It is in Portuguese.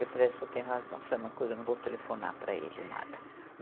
Eu falei, o senhor tem razão, sabe uma coisa, eu não vou telefonar para ele nada.